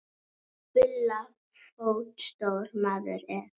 Bulla fótstór maður er.